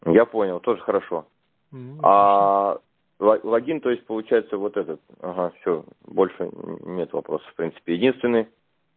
я понял тоже хорошо ладим то есть получается вот этот ага все больше нет вопросов принципе единственный